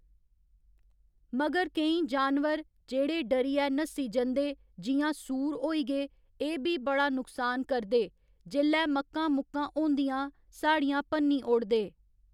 मगर केईं जानवर जेह्ड़े डरियै नस्सी जंदे जि'यां सूऽर होई गे एह् बी बड़ा नुक्सान करदे जेल्लै मक्कां मुक्कां होंदियां साढ़ियां भन्नी ओड़दे।